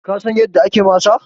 kasan yadda ake masa